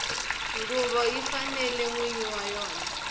nguvo yi fanela nwini wa yona